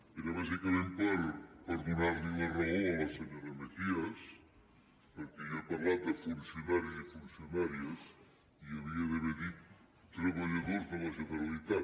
era bàsicament per donar li la raó a la senyora mejías perquè jo he parlat de funcionaris i funcionàries i hauria d’haver dit treballadors de la generalitat